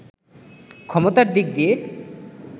ক্ষমতার দিক দিয়ে